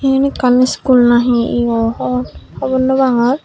eyan ekkan school na he eyo hor hobor no pangor.